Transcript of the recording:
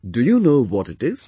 Do you know what it is